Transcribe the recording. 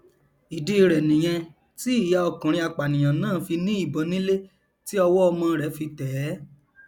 ìdí rẹ nìyẹn tí ìyá ọkùnrin apànìyàn náà fi ní ìbọn nílé tí ọwọ ọmọ rẹ fi tẹẹ